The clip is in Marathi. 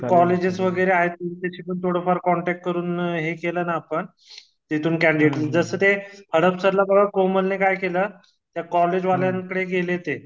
जिथे कॉलेजेस वगैरे आहेत तिथे पण थोडं फार कॉन्टॅक्ट करून हे केलं ना आपण तेथून कॅन्डीडट जस ते कोमलने काय केलं त्या कॉलेजवाल्यान कडे गेले ते